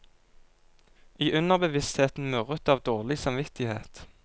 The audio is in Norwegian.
I underbevisstheten murret det av dårlig samvittighet.